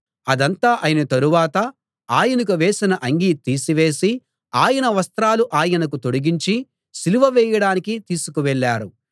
అదంతా అయిన తరువాత ఆయనకు వేసిన అంగీ తీసివేసి ఆయన వస్త్రాలు ఆయనకు తొడిగించి సిలువ వేయడానికి తీసుకు వెళ్ళారు